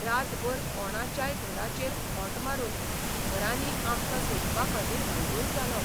रातभर कोणाच्याय घराचेर खोंट मारून घरांनी आमकां सोदपाखातीर हैदोस घालो.